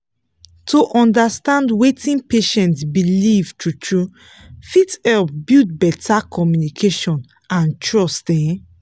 to understand wetin patient believe true-true fit help build better communication and trust um